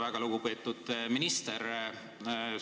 Väga lugupeetud minister!